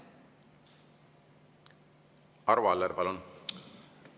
Arvo Aller, palun!